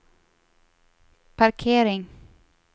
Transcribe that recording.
parkering